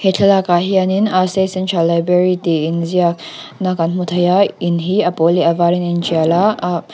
thlalak ah hianin a state central library tih inziak na kan hmu thei a in hi a pawl leh a varin a initial a ahh--